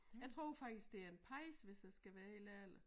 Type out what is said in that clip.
Jeg tror faktisk det er en pejs hvor jeg skal være helt ærlig